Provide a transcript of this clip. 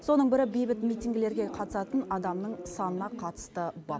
соның бірі бейбіт минтингілерге қатысатын адамның санына қатысты бап